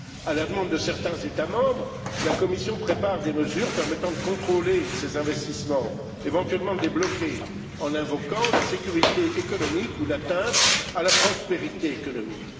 À la demande de certains États membres, la Commission prépare des mesures permettant de contrôler ces investissements, éventuellement de les bloquer en invoquant la sécurité économique ou l'atteinte à la prospérité économique.